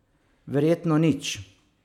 Verjetno nič.